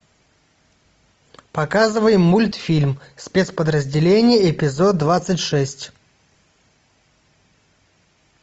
показывай мультфильм спецподразделение эпизод двадцать шесть